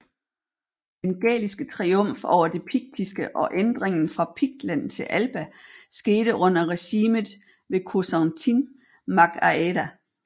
Den gæliske triumf over det piktiske og ændringen fra Piktland til Alba skete under regimet ved Causantín mac Áeda